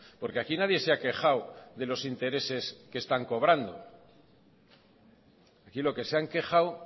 porque aquí nadie se ha quejado de los intereses que están cobrando aquí lo que se han quejado